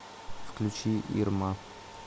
включи ирма